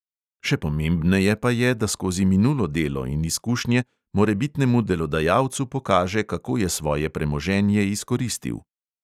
Še pomembneje pa je, da skozi minulo delo in izkušnje morebitnemu delodajalcu pokaže, kako je svoje premoženje izkoristil.